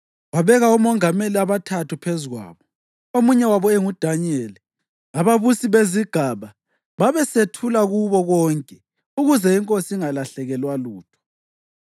wabeka omongameli abathathu phezu kwabo, omunye wabo enguDanyeli. Ababusi bezigaba babesethula kubo konke ukuze inkosi ingalahlekelwa lutho.